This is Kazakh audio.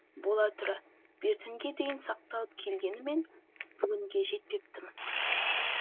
бола тұра бертінге дейін сақталып келгенімен бүгінге жетпепті мыс